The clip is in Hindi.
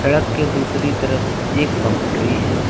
ट्रक के दूसरी तरफ एक बाउंड्री है।